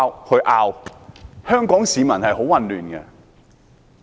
香港市民感到很混亂。